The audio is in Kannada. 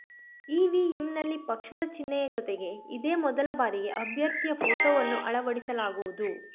ಇವಿಎಂನಲ್ಲಿ ಪಕ್ಷದ ಚಿಹ್ನೆಯ ಜೊತೆಗೆ ಇದೇ ಮೊದಲ ಬಾರಿಗೆ ಅಭ್ಯರ್ಥಿಯ ಫೋಟೋವನ್ನು ಅಳವಡಿಸಲಾಗುವುದು